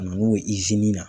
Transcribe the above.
Ka na n'o ye na.